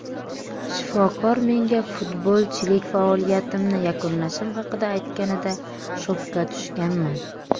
Shifokor menga futbolchilik faoliyatimni yakunlashim haqida aytganida shokka tushganman.